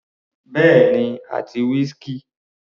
Bẹ́ẹ̀ni àti whisky.